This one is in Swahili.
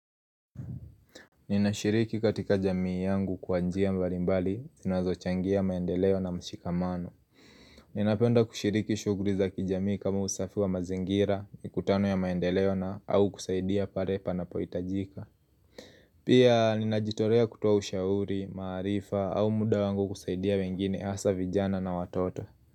Nina shiriki katika jamii yangu kwa njia mbalimbali zinazo changia maendeleo na mshikamano Nina penda kushiriki shughli za kijamii kama usafi wa mazingira mikutano ya maendeleo na au kusaidia pale panapohitajika Pia nina jitolea kutoa ushauri, maarifa au muda wangu kusaidia wengine hasa vijana na watoto.